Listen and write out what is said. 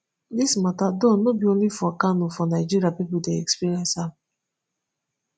dis mata though no be only for kano for nigeria pipo dey experience am